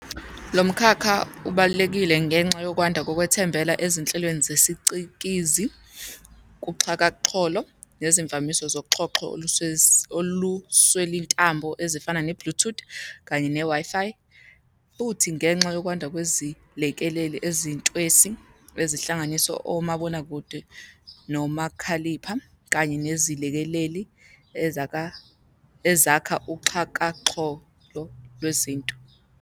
Lomkhakha ubalulekile ngenxa yokwanda kokwethembela ezinhlelweni zesicikizi, kuxhakaxholo, nezivamiso zoxhoxho oluswelintambo ezifana ne-Bluetooth Kanye ne-Wi-fi. Futhi, ngenxa yokwanda kwezilekeleli ezintwesi, ezihlanganisa omabonakude, nomakhalipha, kanye nezilekeleli ezakha uXhakaxholo lwezinto.